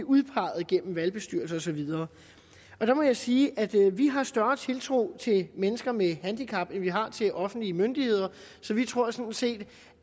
udpeget gennem valgbestyrelser og så videre der må jeg sige at vi har større tiltro til mennesker med handicap end vi har til offentlige myndigheder så vi tror sådan set